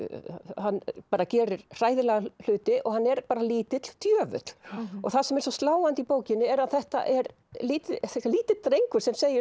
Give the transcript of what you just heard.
hann bara gerir hræðilega hluti og hann er bara lítill djöfull það sem er svo sláandi í bókinni er að þetta er lítill lítill drengur sem segir